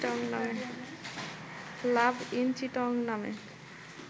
লাভ in Chittagong নামে